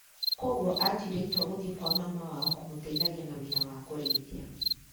Koguo atuire itua gũthiĩ kwa mama wao kũmũteithagia na wira wa kũrĩithia.